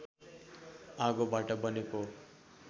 आगोबाट बनेको